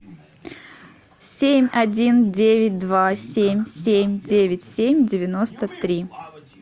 семь один девять два семь семь девять семь девяносто три